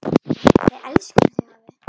Við elskum þig, afi.